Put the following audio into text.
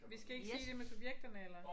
Vi skal ikke sige det med subjekterne eller?